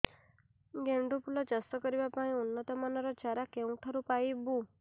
ଗେଣ୍ଡୁ ଫୁଲ ଚାଷ କରିବା ପାଇଁ ଉନ୍ନତ ମାନର ଚାରା କେଉଁଠାରୁ ପାଇବୁ